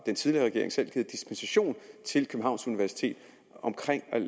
den tidligere regering selv givet dispensation til københavns universitet